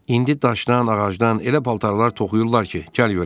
İndi daşdan, ağacdan elə paltarlar toxuyurlar ki, gəl görəsən.